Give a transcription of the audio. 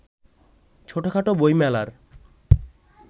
ছোটখাট বইমেলার